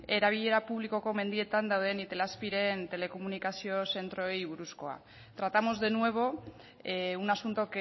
erabilera publikoko mendietan dauden itelazpi ren telekomunikazio zentroei buruzkoa tratamos de nuevo un asunto